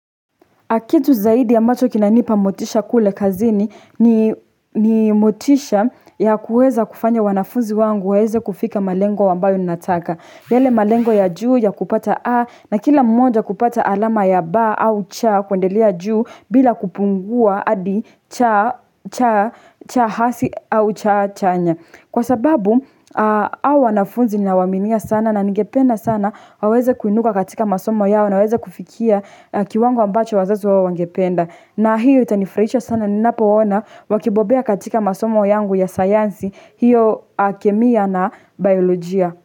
Kitu zaidi ya ambacho kinanipa motisha kule kazini ni motisha ya kuweza kufanya wanafunzi wangu waweze kufika malengo ambayo ninataka. Yale malengo ya juu ya kupata A na kila mmoja kupata alama ya B au C kuendelea juu bila kupungua hadi C hasi au C chanya. Kwa sababu, hao wanafunzi ninawaaminia sana na ningependa sana, waweze kuinuka katika masomo yao na waweze kufikia kiwango ambacho wazazi wao wangependa. Na hiyo itanifurahisha sana ninapoona, wakibobea katika masomo yangu ya sayansi, hiyo kemia na biolojia.